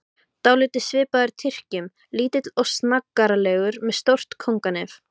Dálítið svipaður Tyrkjum, lítill og snaggaralegur, með stórt kónganef.